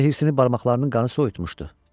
Yoxsa hifzini barmaqlarının qanı soyutmamışdı.